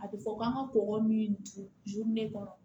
A bɛ fɔ k'an ka kɔgɔ min don kɔnɔ